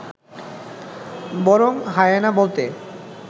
বরং হায়েনা বলতে